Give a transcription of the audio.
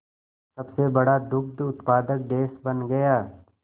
सबसे बड़ा दुग्ध उत्पादक देश बन गया